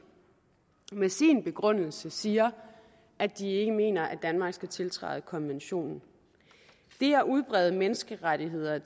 i sin begrundelse siger at de ikke mener at danmark skal tiltræde konventionen det at udbrede menneskerettigheder